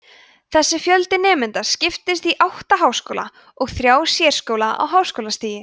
þessi fjöldi nemenda skiptist á átta háskóla og þrjá sérskóla á háskólastigi